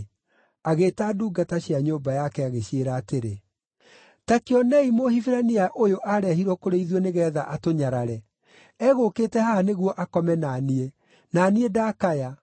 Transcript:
agĩĩta ndungata cia nyũmba yake, agĩciĩra atĩrĩ, “Ta kĩonei Mũhibirania ũyũ aarehirwo kũrĩ ithuĩ nĩgeetha atũnyarare! Egũũkĩte haha nĩguo akome na niĩ, na niĩ ndakaya.